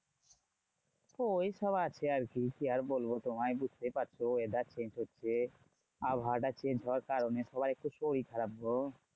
ওই সব আছে আরকি, কি আর বলবো তোমায়? বুঝতেই পারছো weather change হচ্ছে, আবহাওয়াটা change হওয়ার কারণে সবাইর তো শরীর খারাপ গো।